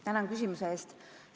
Tänan küsimuse eest!